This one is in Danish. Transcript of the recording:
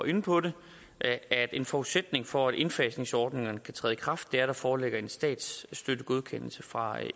inde på det at en forudsætning for at indfasningsordningerne kan træde i kraft er at der foreligger en statsstøttegodkendelse fra